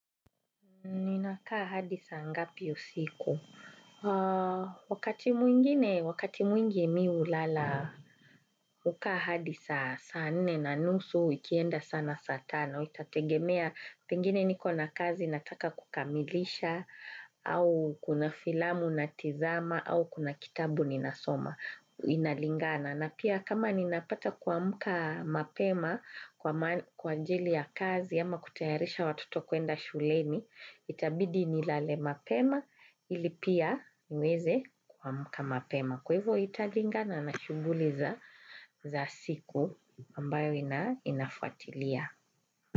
Ninakaa hadisaa ngapi usiku. Wakati mwingi mi ulala ukaa hadi saa saa nne na nusu ikienda sana saa tano. Itategemea pengine nikona kazi nataka kukamilisha au kuna filamu na tizama au kuna kitabu ninasoma inalingana. Na pia kama ni napata kua mka mapema kwa anjili ya kazi a ma kutayarisha watoto kwenda shuleni, itabidi ni lale mapema ili pia niweze kua mka mapema. Kwa hivyo italinga na nashunguliza za siku ambayo inafuatilia.